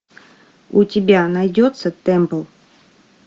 у тебя найдется темпл